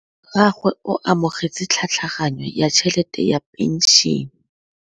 Rragwe o amogetse tlhatlhaganyô ya tšhelête ya phenšene.